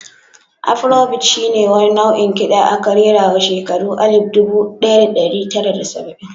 Afro bit shi ne wani nau'in kiɗa aka rerawa shekara alif dubu ɗaya da ɗari tara da saba'in.